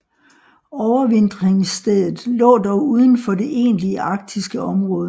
Overvintringsstedet lå dog uden for det egentlige arktiske område